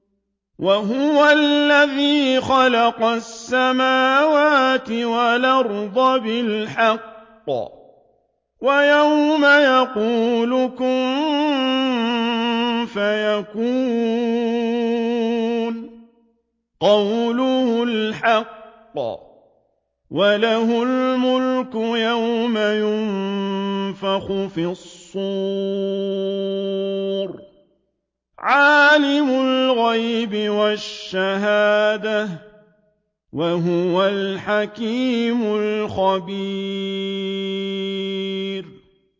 وَهُوَ الَّذِي خَلَقَ السَّمَاوَاتِ وَالْأَرْضَ بِالْحَقِّ ۖ وَيَوْمَ يَقُولُ كُن فَيَكُونُ ۚ قَوْلُهُ الْحَقُّ ۚ وَلَهُ الْمُلْكُ يَوْمَ يُنفَخُ فِي الصُّورِ ۚ عَالِمُ الْغَيْبِ وَالشَّهَادَةِ ۚ وَهُوَ الْحَكِيمُ الْخَبِيرُ